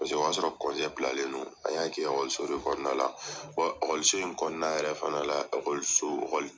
Paseke o y'a sɔrɔ bilalen don an y'a kɛ kɔnɔna la in kɔnɔna la yɛrɛ fana la